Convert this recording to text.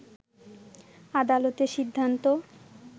আদালতের সিন্ধান্ত